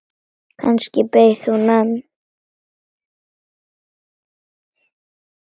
Kannski beið hún enn.